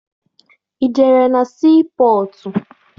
Ị jere na sii pọtụ?